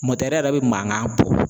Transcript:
yɛrɛ bɛ mankan bɔ.